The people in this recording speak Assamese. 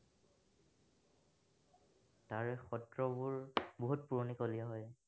তাৰ সত্ৰবোৰ বহুত পুৰণিকলীয়া হয়।